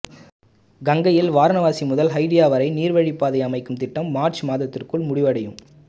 கங்கையில் வாரணாசி முதல் ஹல்டியா வரை நீர்வழிப் பாதை அமைக்கும் திட்டம் மார்ச் மாதத்திற்குள் முடிவடையும்